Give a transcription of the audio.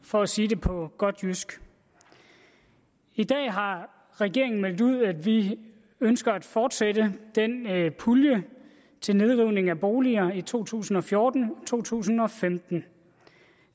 for at sige det på godt jysk i dag har regeringen meldt ud at vi ønsker at fortsætte puljen til nedrivning af boliger i to tusind og fjorten og to tusind og femten